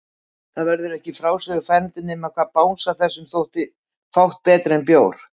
Það væri ekki í frásögur færandi nema hvað bangsa þessum þótti fátt betra en bjór!